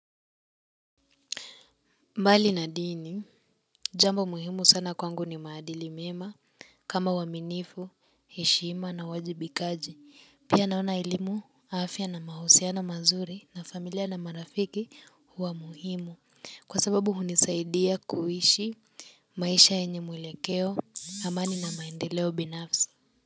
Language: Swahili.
Mbali na dini, jambo muhimu sana kwangu ni maadili mema kama uaminivu, heshima, na uwajibikaji. Pia naona elimu afya na mahusiano mazuri na familia na marafiki huwa muhimu kwa sababu hunisaidia kuishi maisha yenye mwelekeo, amani na maendeleo binafsi.